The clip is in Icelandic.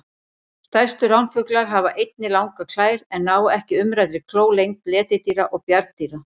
Stærstu ránfuglar hafa einnig langar klær en ná ekki umræddri klór lengd letidýra og bjarndýra.